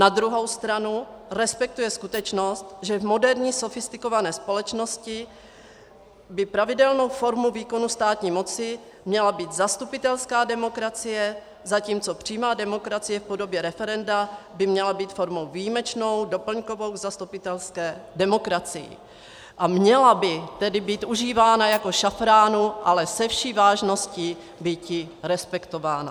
Na druhou stranu respektuje skutečnost, že v moderní sofistikované společnosti by pravidelnou formou výkonu státní moci měla být zastupitelská demokracie, zatímco přímá demokracie v podobě referenda by měla být formou výjimečnou, doplňkovou v zastupitelské demokracii, a měla by tedy být užívána jako šafránu, ale se vší vážností býti respektována.